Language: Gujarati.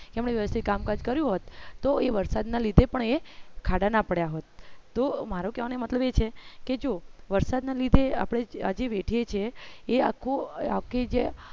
એમને વ્યવ્સ્તીત કામકાજ કર્યું હોત તો એ વરસાદના લીધે પણ એ ખાડા ના પડ્યા હોત તો મારો કયો ને મતલબી છે કે જો વરસાદના લીધે આપણે આજે વેઠીએ છીએ એ આખું આખી જે